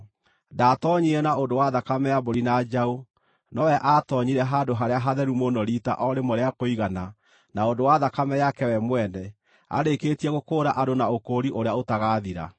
Ndaatoonyire na ũndũ wa thakame ya mbũri na njaũ; nowe aatoonyire Handũ-harĩa-Hatheru-Mũno riita o rĩmwe rĩa kũigana na ũndũ wa thakame yake we mwene, arĩkĩtie gũkũũra andũ na ũkũũri ũrĩa ũtagaathira.